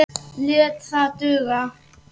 Lét það duga.